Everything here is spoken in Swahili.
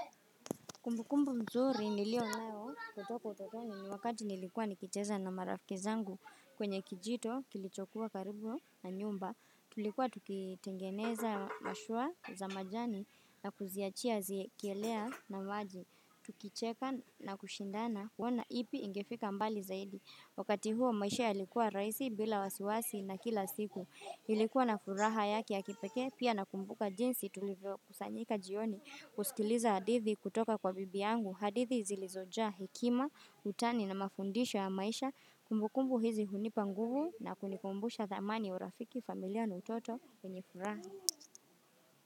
Kumbu kumbu mzuri nilio nayo kutoko utotoni ni wakati nilikuwa nikicheza na marafiki zangu kwenye kijito kilichokuwa karibu na nyumba. Tulikuwa tukitengeneza mashua za majani na kuziachia zikielea na maji. Tukicheka na kushindana kuona ipi ingefika mbali zaidi. Wakati huo maisha yalikuwa rahisi bila wasiwasi na kila siku. Ilikuwa na furaha yake ya kipekee pia nakumbuka jinsi tulivyo kusanyika jioni kuskiliza hadithi kutoka kwa bibi yangu. Hadithi zilizojaa hekima, utani na mafundisho ya maisha kumbukumbu hizi hunipa nguvu na kunikumbusha thamani ya urafiki familia na utoto wenye furaha.